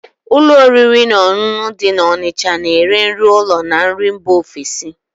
Ụlọ oriri na ọṅụṅụ dị na Onicha na ere nri ụlọ na nri mba ofesi